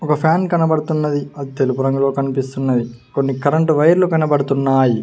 ఒక ఫ్యాన్ కనబడుతున్నది అది తెలుపు రంగులో కనిపిస్తున్నది కొన్ని కరెంటు వైర్లు కనబడుతున్నాయి.